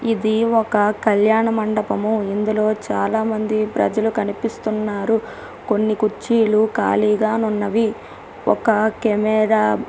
ఇది ఒక కల్యాణ మండపము ఇందులో చాల మంది ప్రజలు కనిపిస్తున్నారు కొన్ని కుర్చీలు కాలిగా ఉన్నవి ఒక కెమెరా --